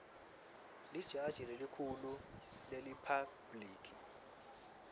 lijaji lelikhulu leriphabhliki